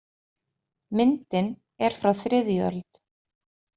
Myndin er frá þriðju öld.